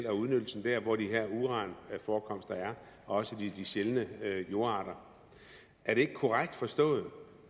og udnyttelsen der hvor de her uranforekomster er og også de sjældne jordarter er det ikke korrekt forstået